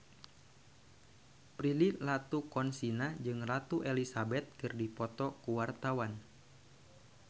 Prilly Latuconsina jeung Ratu Elizabeth keur dipoto ku wartawan